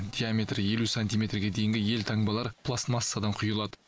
диаметрі елу сантиметрге дейінгі елтаңбалар пластмассадан құйылады